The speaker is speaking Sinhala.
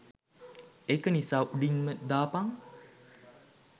ඒක නිසා උඩින්ම දාපන්